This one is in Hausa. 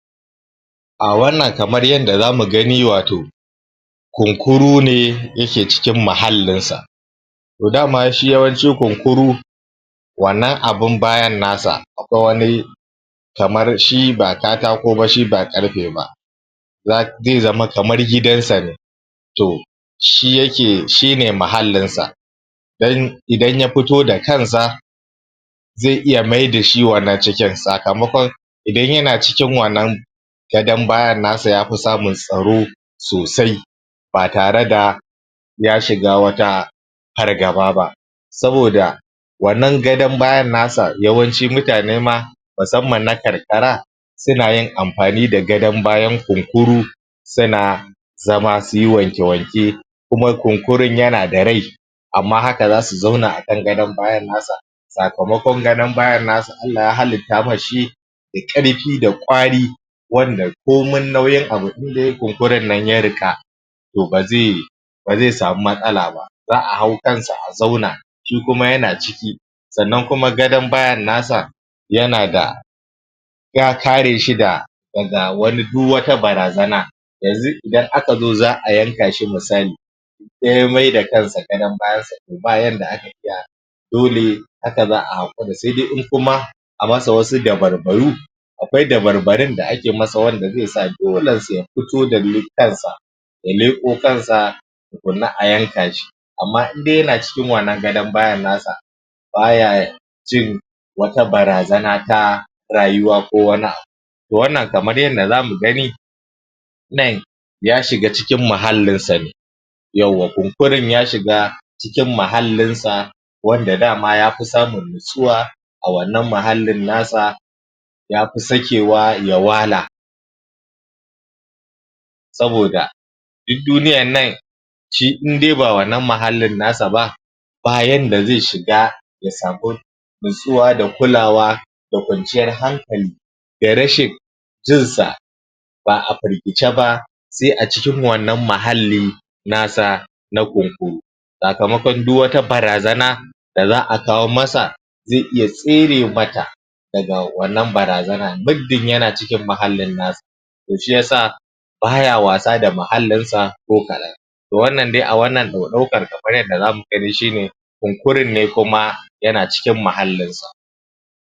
A wannan kamar yadda za mu gani wato, Kunkuru ne yake cikin muhallinsa. To dama shi yawanci kunkuru wannan abun bayan nasa, akwai wani kamar shi ba katako ba shi ba ƙarfe ba. Zai zama kamar gidansa ne To, shine mahallinsa, idan ya fito da kansa zi iya mai da shi wannan cikin sakamakon, idan yanacikin wannan gadan bayan nasa ya fi samun tsaro sosai ba tare da ya shiga wata fargaba ba, saboda wannan gadon bayan nasa yawanci mutane ma musamman na karkara suna yin amfani da gadon bayan kunkuru suna zama su yi wanke-wanke kuma kunkurun yana da rai amma haka za su zauna akan gadon bayan nasa, sakamakon gadon bayan asa Allah ya halitta masa shi da ƙarfi da ƙwari, wanda komai nauyin abu indai kunkurun nan ya riƙa, to ba zai samu matsala ba. Za'a hau kansa a zauna shi kuma yana ciki, sannan kuma gadon bayan nasa yana da ya kare shi da daga duk wata barazana. Yanzu idan aka zo za'a yanka shi misali idan ya mai da kansa gadon bayansa to yadda aka iya dole haka za'a haƙura sai dai in kuma a masa wasu dabarbaru akwai dabarbarun da ake masa wanda zaisa dolensa ya fito da kansa ya leƙo kansa tukuna a yanka shi. Amma in dai yana cikin wannan gadon bayan nasa baya jin wata barazana ta rayuwa ko wani abu. To wanna kamar yadda za mu gani nan ya shiga cikin muhallinsa ne, yawwa kunkurun ya shiga, cikin muhallinsa wanda dama ya fi samun natsuwa, a wannan muhallin na sa, ya fi sakewa ya wala, saboda duk duniyannan shi indai ba wannan muhallin nas ba ba yadda zai shiga ya samu natsuwa da kulawa, da kwanciyar hankali da rashin jinsa, ba'a firgice ba sai a cikin wannan muhalli na sa na Kunkuru. Sakamakon duk wata barazana da za'a kawo masa zai iya tsere mata daga wannan barazana muddin yana cikin muhallin nasa. Toshi yasa ba ya wasa da muhallinsa ko kalan, To wannan dai a wannan ɗaukar kamar yaddaza za mu gani shine kunkurun ne kuma yana cikin muhallinsa.